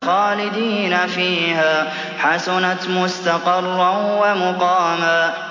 خَالِدِينَ فِيهَا ۚ حَسُنَتْ مُسْتَقَرًّا وَمُقَامًا